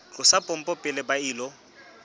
tlosa pompo pele ba ilo